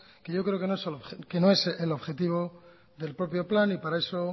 que yo creo que no es el objetivo del propio plan y para eso